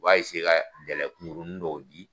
U b'a ka kunkuruni dɔw di.